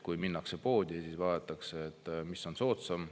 Kui minnakse poodi, siis vaadatakse, mis on soodsam.